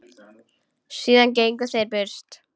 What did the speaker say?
Síðan gengu þeir burt.